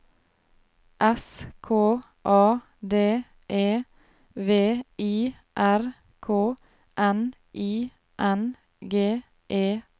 S K A D E V I R K N I N G E R